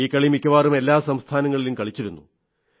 ഈ കളി മിക്കവാറും എല്ലാ സംസ്ഥാനങ്ങളിലും കളിച്ചിരുന്നു